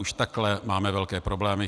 Už takhle máme velké problémy.